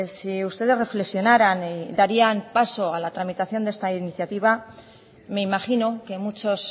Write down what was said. si ustedes reflexionaran darían paso a la tramitación de esta iniciativa me imagino que muchos